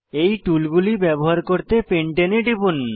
এই টুলগুলি ব্যবহার করতে পেন্টানে এ টিপুন